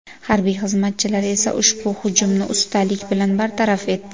Harbiy xizmatchilar esa ushbu hujumni ustalik bilan bartaraf etdi.